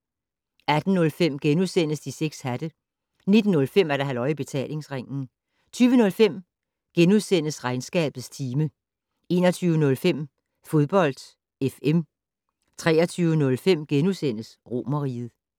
18:05: De 6 hatte * 19:05: Halløj I Betalingsringen 20:05: Regnskabets time * 21:05: Fodbold FM 23:05: Romerriget *